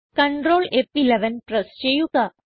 control ഫ്11 press ചെയ്യുക